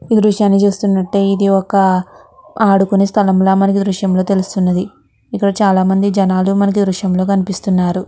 ఈ దృశ్యాన్ని చూస్తునట్టు అయతెే ఇది ఒక ఆడుకునే స్థలంలా మనకి ఈ దృశ్యం లో తెల్లుస్తున్నది. ఇక్కడ చాలా మంది జనాలు మనకు ఈ దృశ్యంలో కనిపిస్తునారు.